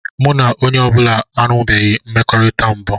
Mụ na onye ọ bụla enwebeghị mmekọrịta mbụ.